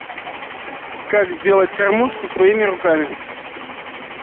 как сделать кормушку своими руками